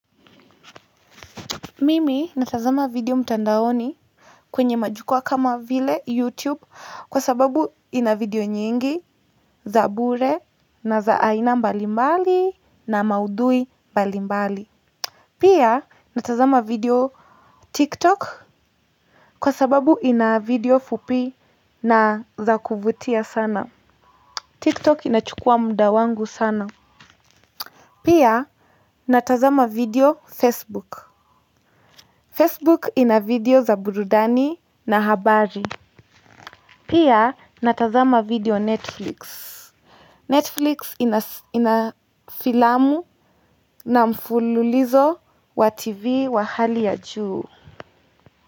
Mimi natazama video mtandaoni kwenye majukwaa kama vile YouTube kwa sababu ina video nyingi za bure na za aina mbalimbali na maudhui mbalimbali. Pia natazama video TikTok kwa sababu ina video fupi na za kuvutia sana. TikTok inachukua muda wangu sana. Pia natazama video Facebook. Facebook ina video za burudani na habari. Pia natazama video netflix. Netflix ina filamu na mfululizo wa tv wa hali ya juu.